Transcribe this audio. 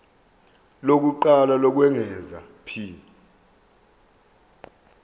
lokuqala lokwengeza p